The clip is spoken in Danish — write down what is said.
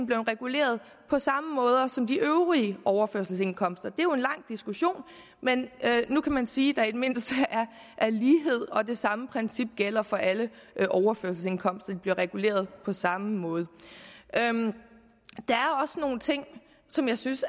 blevet reguleret på samme måde som de øvrige overførselsindkomster det er jo en lang diskussion men nu kan man sige der i det mindste er lighed og at det samme princip gælder for alle overførselsindkomster de bliver reguleret på samme måde der er også nogle ting som jeg synes